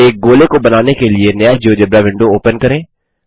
एक गोले को बनाने के लिए नया जियोजेब्रा विंडो ओपन करें